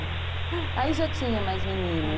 É. Aí já tinha mais meninas.